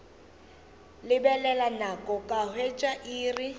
lebelela nako ka hwetša iri